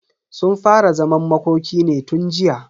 Sun fara zaman makoki ne tun jiya.